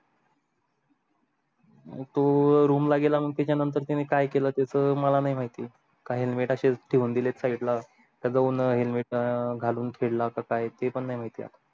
तो room ला गेला मग त्याचा त्याने काय केल त्याच मला नाही माहिती का helmet आशेच ठेवून दिलेत side ला घालून फिरला का काय ते पण नाही माहित